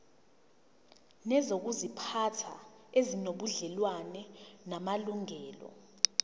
nezokuziphatha ezinobudlelwano namalungelo